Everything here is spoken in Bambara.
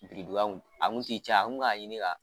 Fitiri donyaw a kun tɛ caya an kun bɛ k'a ɲini ka